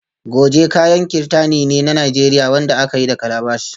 Goje kayan kirtani ne na Najeriya wanda aka yi da calabash